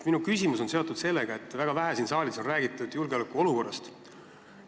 Minu küsimus on seotud sellega, et väga vähe on siin saalis räägitud julgeolekuolukorrast.